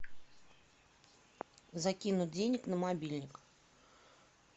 закинуть денег на мобильник